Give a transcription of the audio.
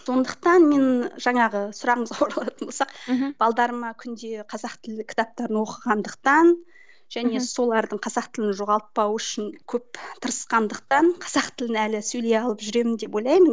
сондықтан мен жаңағы сұрағыңызға оралатын болсақ мхм күнде қазақ тілін кітаптарын оқығандықтан мхм және солардың қазақ тілін жоғалтпауы үшін көп тырысқандықтан қазақ тілін әлі сөйлей алып жүремін деп ойлаймын